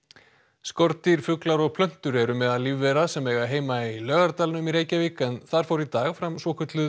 skordýr fuglar og plöntur eru meðal lífvera sem eiga heima í Laugadalnum í Reykjavík en þar fór í dag fram svokölluð